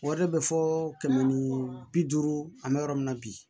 Wari bɛ fɔ kɛmɛ ni bi duuru an bɛ yɔrɔ min na bi